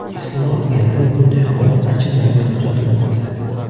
Aslini olganda, bunday holat anchadan buyon kuzatilmoqda.